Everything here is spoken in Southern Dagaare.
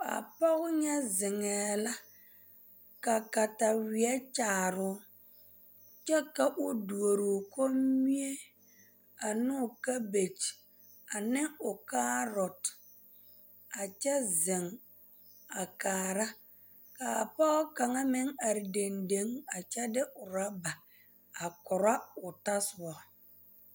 A pɔge nya zeŋɛɛ la ka kataweɛ kyaare o kyɛ ka o duori o kombie ane o kabɛgye ane kaarote a kyɛ zeŋ a kaara ka a pɔge kaŋa meŋ are dendeŋ a kyɛ de ɔraba a koro o tɔsoba.